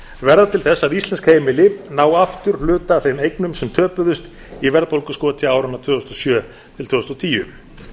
verða til þess að íslensk heimili ná aftur hluta af þeim eignum sem töpuðust í verðbólguskoti áranna tvö þúsund og sjö til tvö þúsund og tíu